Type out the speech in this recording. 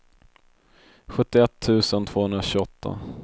sjuttioett tusen tvåhundratjugoåtta